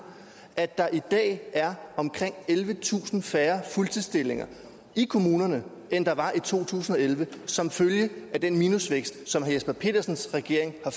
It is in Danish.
at der i dag er omkring ellevetusind færre fuldtidsstillinger i kommunerne end der var i to tusind og elleve som følge af den minusvækst som herre jesper petersens regering har